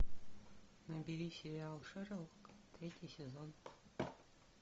набери сериал шерлок третий сезон